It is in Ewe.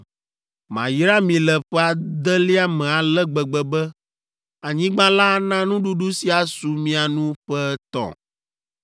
Mayra mi le ƒe adelia me ale gbegbe be anyigba la ana nuɖuɖu si asu mia nu ƒe etɔ̃.